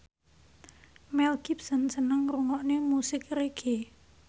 Mel Gibson seneng ngrungokne musik reggae